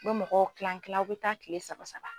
Bɛ mɔgɔ kila kila aw bɛ taa tile saba saba.